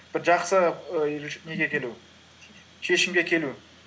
бір жақсы ііі неге келу шешімге келу